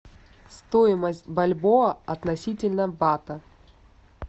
стоимость бальбоа относительно бата